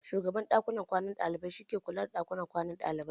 Shugaban ɗakunan kwanan ɗalibai ke kula da harkokin ɗakin kwanan ɗalibai.